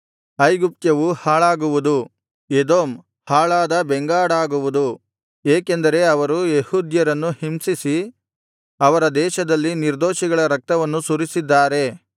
ಐಗುಪ್ತ್ಯವು ಹಾಳಾಗುವುದು ಎದೋಮ್ ಹಾಳಾದ ಬೆಂಗಾಡಾಗುವುದು ಏಕೆಂದರೆ ಅವರು ಯೆಹೂದ್ಯರನ್ನು ಹಿಂಸಿಸಿ ಅವರ ದೇಶದಲ್ಲಿ ನಿರ್ದೋಷಿಗಳ ರಕ್ತವನ್ನು ಸುರಿಸಿದ್ದಾರೆ